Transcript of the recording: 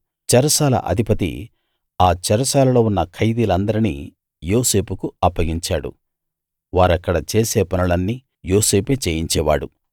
చెరసాల అధిపతి ఆ చెరసాలలో ఉన్న ఖైదీలందరినీ యోసేపుకు అప్పగించాడు వారక్కడ చేసే పనులన్నీ యోసేపే చేయించేవాడు